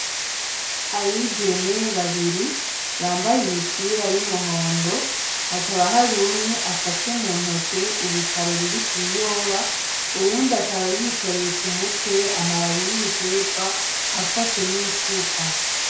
Abigeme babiri, bambaye imipira y'umuhondo. Hakaba hari umwe afashe mu ntoke urutaro ruriko ibiyoba. Uwundi akaba yikoreye ku mutwe amababi yibiterwa, afashe nisuka.